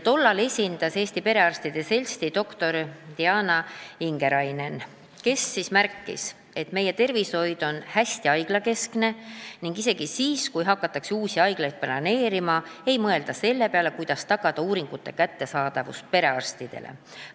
Tollal esindas komisjonis Eesti Perearstide Seltsi doktor Diana Ingerainen, kes märkis, et meie tervishoid on hästi haiglakeskene ning isegi siis, kui hakatakse uusi haiglaid planeerima, ei mõelda selle peale, kuidas tagada, et uuringud oleksid perearstidele kättesaadavad.